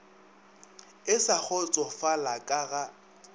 e sa kgotsofala ka ga